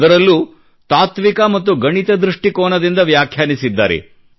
ಅದರಲ್ಲೂ ತಾತ್ವಿಕ ಮತ್ತು ಗಣಿತ ದೃಷ್ಟಿಕೋನದಿಂದ ವ್ಯಾಖ್ಯಾನಿಸಿದ್ದಾರೆ